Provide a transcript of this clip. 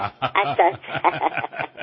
আচ্ছা আচ্ছা